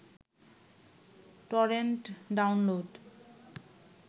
torrent download